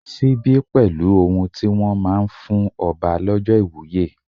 Síbí pẹ̀lú ohun tí wón máa ń fún ọba lọ́jọ́ ìwúye.